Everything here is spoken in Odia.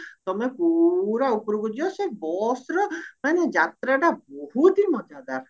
ତମେ ପୁରା ଉପରକୁ ଯିବ ସେ busର ମାନେ ଯାତ୍ରାଟା ବହୁତ ହି ମଜାଦାର